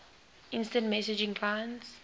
instant messaging clients